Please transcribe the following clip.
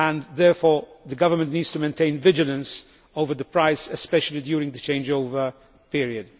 Therefore the Government needs to maintain vigilance over prices, especially during the changeover period.